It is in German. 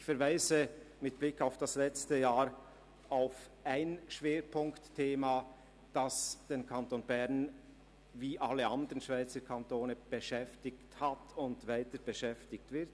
Ich verweise mit Blick aufs letzte Jahr auf ein Schwerpunktthema, das den Kanton Bern wie alle anderen Schweizer Kantone beschäftigt hat und beschäftigen wird.